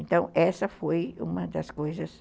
Então, essa foi uma das coisas.